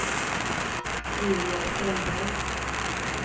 Ingegerd Sandberg